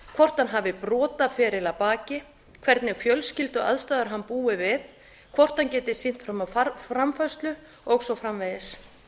hvort hann hafi brotaferil að baki hvernig fjölskylduaðstæður hann búi við hvort hann geti sýnt fram á framfærslu og svo framvegis